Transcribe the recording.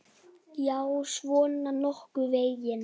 Já, svona nokkurn veginn.